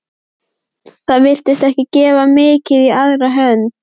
Það virtist ekki gefa mikið í aðra hönd.